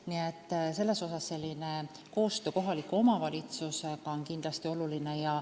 Nii et koostöö kohaliku omavalitsusega on kindlasti oluline.